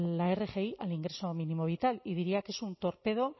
la rgi al ingreso mínimo vital y diría que es un torpedo